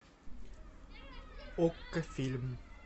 окко фильм